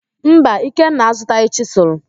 Mba, Ikenna azụtaghị chịsụlụ.